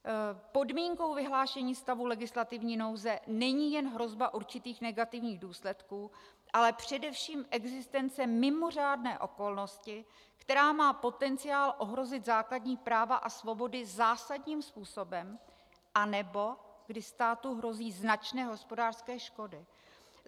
Podmínkou vyhlášení stavu legislativní nouze není jen hrozba určitých negativních důsledků, ale především existence mimořádné okolnosti, která má potenciál ohrozit základní práva a svobody zásadním způsobem anebo kdy státu hrozí značné hospodářské škody.